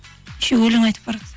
еще өлең айтып бара жатса